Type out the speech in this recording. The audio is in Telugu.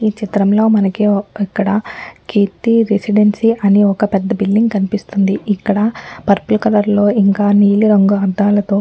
ఈ చిత్రంలో మనకి ఇక్కడ కీర్తి రెసిడెన్సీ అని ఒక్క పెద్ద బిల్డింగ్ కనిపిస్తుంది. ఇక్కడ పర్పుల్ కలర్ లో ఇంకా నీలి రంగు అద్దాలతో --